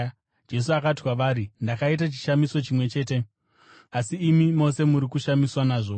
Jesu akati kwavari, “Ndakaita chishamiso chimwe chete, asi imi mose muri kushamiswa nazvo.